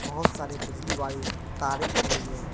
बहोत सारे बिजली वाली तारे दिख रही हैं।